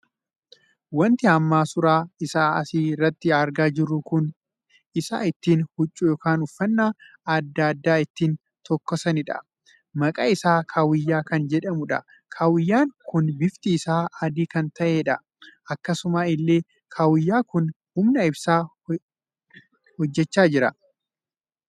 Wanti amma suuraa isaa asi irratti argaa jiru kun isa ittiin huccuu ykn uffannaa addaa addaa ittiin tokkosanidha. maqaa isaa kaawayyaa kan jedhamuudha. kaawayyaan kun bifti isaa adii kan taheedha. akkasuma illee kaawayyaa kun humna ibsaa hojjechaa jira.